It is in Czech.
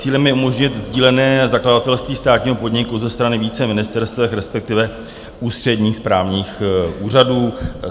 Cílem je umožnit sdílené zakladatelství státního podniku ze strany více ministerstev, respektive ústředních správních úřadů.